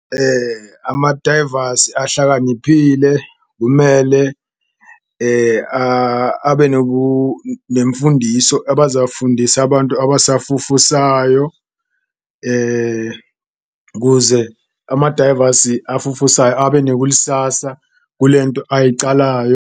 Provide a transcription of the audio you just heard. Amadayivasi ahlakaniphile kumele abe nemfundiso abazafundisa abantu abasafufusayo, kuze amadayivasi afufusayo abe nekulisasa kulento ayicalayo.